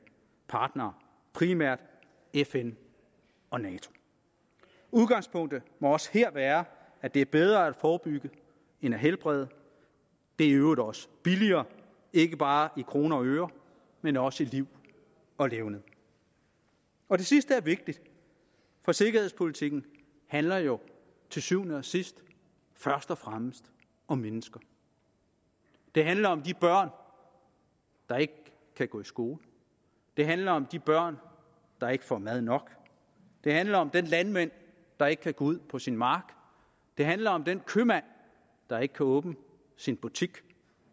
partnere primært fn og nato udgangspunktet må også her være at det er bedre at forebygge end at helbrede det er i øvrigt også billigere ikke bare i kroner og øre men også i liv og levned og det sidste er vigtigt for sikkerhedspolitikken handler jo til syvende og sidst først og fremmest om mennesker det handler om de børn der ikke kan gå i skole det handler om de børn der ikke får mad nok det handler om den landmand der ikke kan gå ud på sin mark det handler om den købmand der ikke kan åbne sin butik